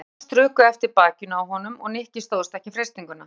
Hendur hennar strukust eftir bakinu á honum og Nikki stóðst ekki freistinguna.